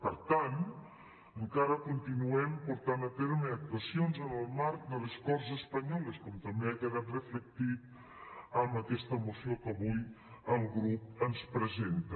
per tant encara continuem portant a terme actuacions en el marc de les corts espanyoles com també ha quedat reflectit en aquesta moció que avui el grup ens presenta